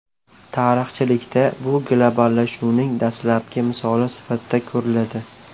Tarixchilikda bu globallashuvning dastlabki misoli sifatida ko‘riladi.